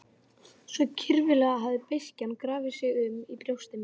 Svo kyrfilega hafði beiskjan grafið um sig í brjósti mínu.